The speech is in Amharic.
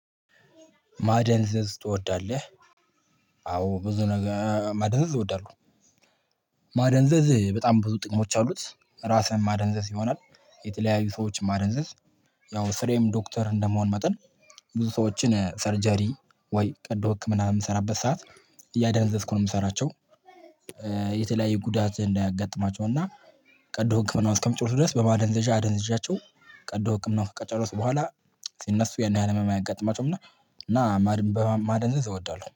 ማደንዘዝ ትወዳለህ? አዎ ብዙ ነገር ማደንዘዝ እወዳለው። ማደንዘዝ በጣም ብዙ ጥቅሞች አሉት ራስህን ማደንዘዝ ይሆናል። የተለያዩ ስዎችን ማደንዘዝ። ያው ስራዬም ዶክትር እንደመሆን መጠን ብዙ ስዎችን ሰርጀሪ ውይ ቀዶ ህክምና በምሰራበት ሰዓት እያደነዘዝኩ ነው የምሰራቸው። የተለያየ ጉዳት እንዳያጋጥማቸው እና ቀዶ ህክምናው እስክሚጮሁ ድረስ በማደንዘዣ አደንዝዣቸው። ቀዶ ህክምናው ከጨረሱ በሁዋላ ሲነሱ ያን ያህል ህመም አያጋጥማቸውም። እና ማድን ማደንዘዝ እወዳለሁ